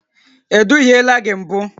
E duhiela gị mbụ?